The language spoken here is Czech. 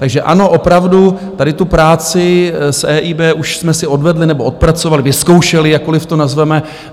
Takže ano, opravdu tady tu práci s EIB už jsme si odvedli nebo odpracovali, vyzkoušeli, jakkoliv to nazveme.